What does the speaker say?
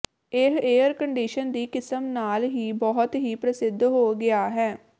ਇਹ air condition ਦੀ ਕਿਸਮ ਹਾਲ ਹੀ ਬਹੁਤ ਹੀ ਪ੍ਰਸਿੱਧ ਹੋ ਗਿਆ ਹੈ